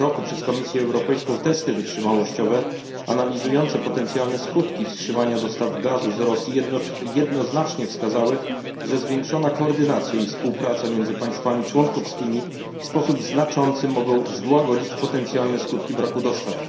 r. przez Komisję Europejską testy wytrzymałościowe analizujące potencjalne skutki wstrzymania dostaw gazu z Rosji jednoznacznie wskazały, że zwiększona koordynacja i współpraca między państwami członkowskimi w sposób znaczący mogą złagodzić potencjalne skutki braku dostaw.